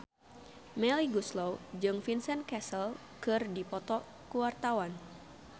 Melly Goeslaw jeung Vincent Cassel keur dipoto ku wartawan